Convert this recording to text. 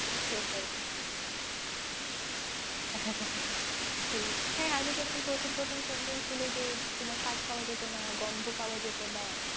সেটাই। সেই আগে যেরকম প্রথম প্রথম symptoms ছিল যে তোমার স্বাদ পাওয়া যেত না, গন্ধ পাওয়া যেত না,